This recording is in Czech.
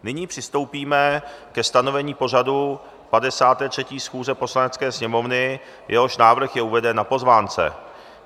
Nyní přistoupíme ke stanovení pořadu 53. schůze Poslanecké sněmovny, jehož návrh je uveden na pozvánce.